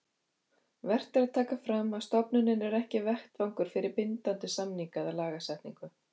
Vert er að taka fram að stofnunin er ekki vettvangur fyrir bindandi samninga eða lagasetningu.